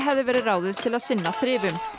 hefði verið ráðið til að sinna þrifum